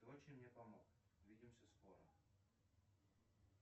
ты очень мне помог увидимся скоро